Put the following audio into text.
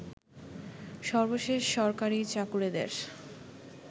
সর্বশেষ সরকারি চাকুরেদের